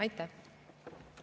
Aitäh!